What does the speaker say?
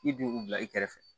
I bi u bila i kɛrɛfɛ